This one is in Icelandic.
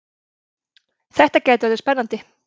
Þetta gæti orðið spennandi!